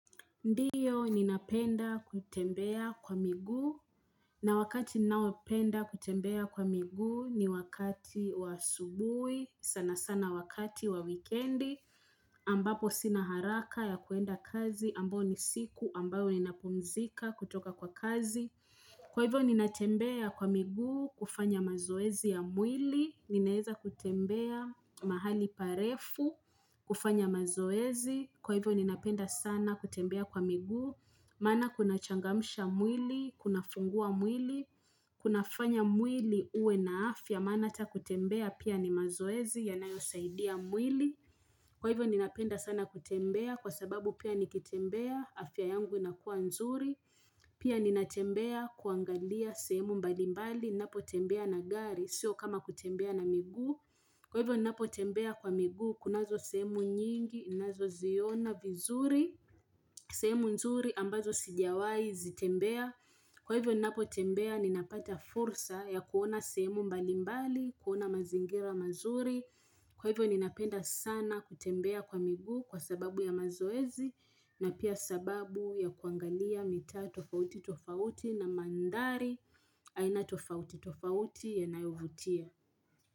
Ndiyo ninapenda kutembea kwa miguu, na wakati ninaopenda kutembea kwa miguu ni wakati wa asubuhi, sana sana wakati wa weekendi, ambapo sina haraka ya kuenda kazi, ambao ni siku ambayo ninapumzika kutoka kwa kazi. Kwa hivyo ninatembea kwa miguu kufanya mazoezi ya mwili, ninaeza kutembea mahali parefu kufanya mazoezi, kwa hivyo ninapenda sana kutembea kwa miguu, maana kunachangamsha mwili, kunafungua mwili, kunafanya mwili uwe na afya, maana hata kutembea pia ni mazoezi yanayosaidia mwili. Kwa hivyo ninapenda sana kutembea kwa sababu pia nikitembea, afya yangu inakuwa nzuri. Pia ninatembea kuangalia sehemu mbalimbali, napotembea na gari, sio kama kutembea na miguu. Kwa hivyo ninapotembea kwa miguu, kunazo semu nyingi, nazoziona vizuri, sehemu nzuri ambazo sijawahi zitembea. Kwa hivyo ninapotembea ninapata fursa ya kuona sehemu mbali mbali, kuona mazingira mazuri. Kwa hivyo ninapenda sana kutembea kwa miguu kwa sababu ya mazoezi na pia sababu ya kuangalia mitaa tofauti tofauti na mandhari aina tofauti tofauti yanayovutia.